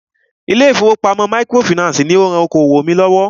Ilé ìfọwọ́pamo microfinancii ní o rán okoòwò mí lọ́wọ́.